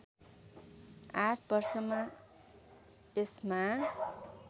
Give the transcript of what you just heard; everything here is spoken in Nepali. ८ वर्षमा यसमा